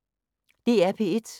DR P1